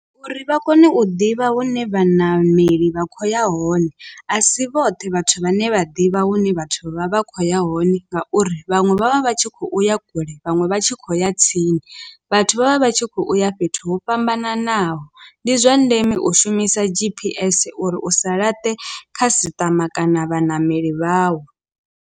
Uri vha kone u ḓivha hune vhaṋameli vha khou ya hone a si vhoṱhe vhathu vhane vha ḓivha hune vhathu vha vha khou ya hone ngauri vhaṅwe vha vha vha tshi khou uya kule vhaṅwe vha tshi khou ya tsini vhathu vha vha vha tshi khou ya fhethu ho fhambananaho, ndi zwa ndeme u shumisa G_P_S uri u sa laṱe khasiṱama kana vhaṋameli vhawu.